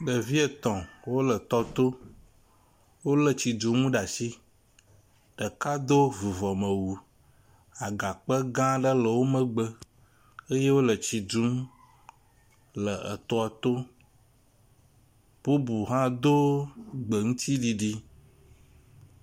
Ɖevi etɔ̃ wo le tɔ to. Wo le tsidunu ɖe asi. Ɖeka do vuvɔmewu. Agakpe gã aɖe le wo megbe ye wo le etsi dum le etɔ to. Bubu hã do gbeŋtsiɖiɖi.